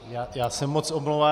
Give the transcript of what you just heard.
Já se moc omlouvám.